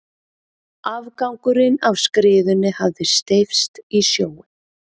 Afgangurinn af skriðunni hafði steypst í sjóinn.